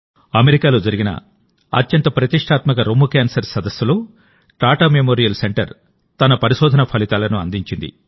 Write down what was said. అమెరికాలో జరిగిన అత్యంత ప్రతిష్టాత్మక బ్రెస్ట్ క్యాన్సర్ సదస్సులో టాటా మెమోరియల్ సెంటర్ తన పరిశోధన ఫలితాలను అందించింది